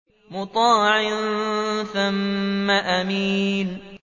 مُّطَاعٍ ثَمَّ أَمِينٍ